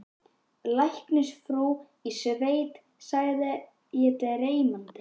Læknisfrú í sveit sagði ég dreymandi.